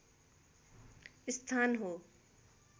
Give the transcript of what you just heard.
स्थान हो